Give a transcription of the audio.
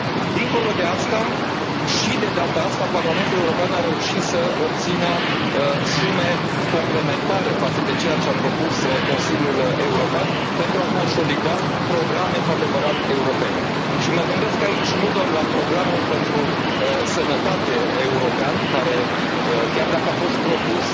Dincolo de asta, și de data asta, Parlamentul European a reușit să obțină sume complementare față de ceea ce a propus Consiliul European pentru a consolida programe cu adevărat europene. Și mă gândesc aici nu doar la programul pentru sănătate european, care, chiar dacă a fost propus